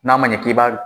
N'a ma ɲɛ k'i b'a